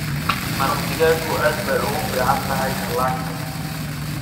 Maraq digaagu aad bay ugu fiican tahay dhallaanka.